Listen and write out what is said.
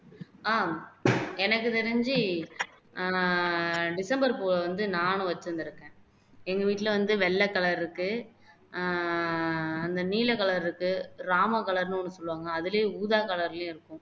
ஆஹ் எனக்கு தெரிஞ்சு ஆஹ் டிசம்பர் பூவை வந்து நானும் வச்சுருந்துருக்கேன் எங்க வீட்டுல வந்து வெள்ள color இருக்கு ஆஹ் நீல color இருக்கு ராமம் color ன்னு ஒனு சொல்லுவாங்கல்ல அதுலயும் ஊதா color லயும் இருக்கு